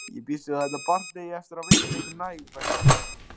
Ég býst við að þetta barn eigi eftir að veita ykkur næg verkefni.